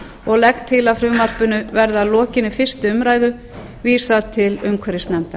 og legg til að frumvarpinu verði að lokinni fyrstu umræðu vísað til umhverfisnefndar